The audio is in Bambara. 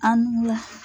An bu